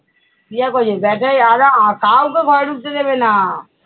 কাউকে ঘরে ঢুকতে দেবে না।